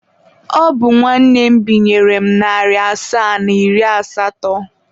Ọ bụ nwanne m binyere narị asaa na iri asatọ.